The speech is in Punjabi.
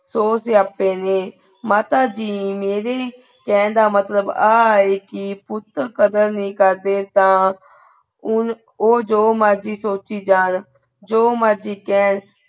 ਸੌ ਸਿਆਪੇ ਨੇ। ਮਾਤਾ ਜੀ ਮੇਰੇ ਕਹਿਣ ਦਾ ਮਤਲਬ ਆ ਹੈ ਕੇ ਪੁੱਤ ਕਦਰ ਨਹੀਂ ਕਰਦੇ ਤਾਂ ਉਹ ਜੋ ਮਰਜੀ ਸੋਚੀ ਜਾਣ ਜੋ ਮਰਜ਼ੀ ਕਹਿਣ,